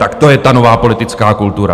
Tak to je ta nová politická kultura.